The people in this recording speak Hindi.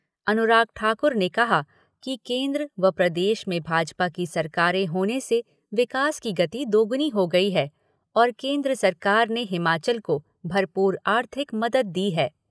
अनुराग ठाकुर ने कहा कि केन्द्र व प्रदेश में भाजपा की सरकारें होने से विकास की गति दोगुनी हो गई है और केन्द्र सरकार ने हिमाचल को भरपूर आर्थिक मदद दी है।